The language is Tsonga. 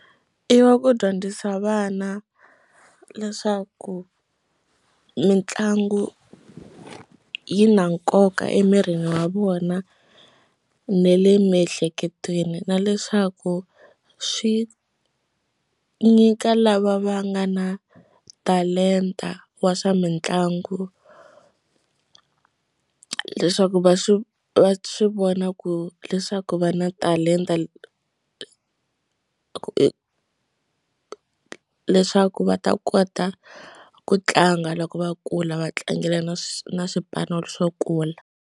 I ya ku dyondzisa vana leswaku mitlangu yi na nkoka emirini wa vona na le miehleketweni na leswaku swi nyika lava va nga na talenta wa swa mitlangu leswaku va swi va swi vona ku leswaku va na talenta leswaku va ta kota ku tlanga loko va kula va tlangelaka na na swipano swo kula.